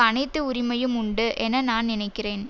அனைத்து உரிமையும் உண்டு என நான் நினைக்கிறேன்